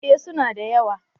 Eh su na da yawa